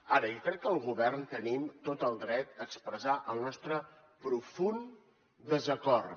ara jo crec que el govern tenim tot el dret a expressar el nostre profund desacord